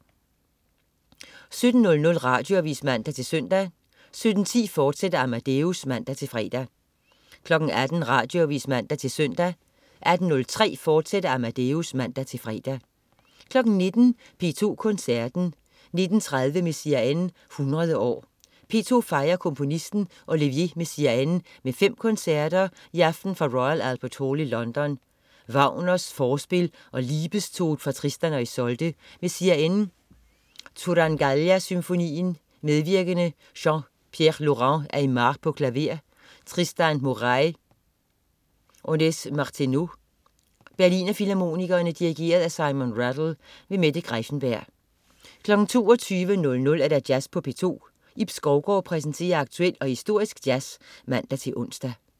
17.00 Radioavis (man-søn) 17.10 Amadeus, fortsat (man-fre) 18.00 Radioavis (man-søn) 18.03 Amadeus, fortsat (man-fre) 19.00 P2 Koncerten. 19.30 Messiaen 100 år. P2 fejrer komponisten Olivier Messiaen med fem koncerter, i aften fra Royal Albert Hall i London. Wagner: Forspil og Liebestod fra Tristan og Isolde. Messiaen: Turangalila Symfonien. Medvirkende: Pierre-Laurent Aimard, klaver. Tristan Murail, ondes Martenot. Berliner Filharmonikerne. Dirigent: Simon Rattle. Mette Greiffenberg 22.00 Jazz på P2. Ib Skovgaard præsenterer aktuel og historisk jazz (man-ons)